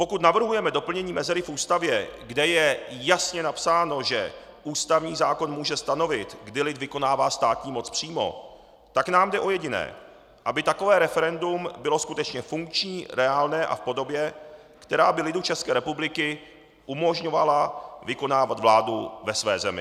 Pokud navrhujeme doplnění mezery v Ústavě, kde je jasně napsáno, že ústavní zákon může stanovit, kdy lid vykonává státní moc přímo, tak nám jde o jediné: aby takové referendum bylo skutečně funkční, reálné a v podobě, která by lidu České republiky umožňovala vykonávat vládu ve své zemi.